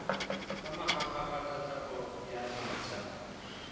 ka mahahapa tlatlapo ya ditsha